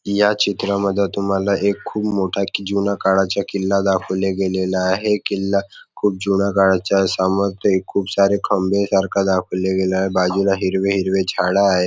या चित्रामध्ये तुम्हाला एक खुप मोठा जुन्या काळाचा किल्ला दाखवला गेलेला आहे किल्ला जुन्या काळाचा खुप सारे खंबे सारखा दाखवला गेलेला आहे बाजूला हिरवे हिरवे झाड आहेत.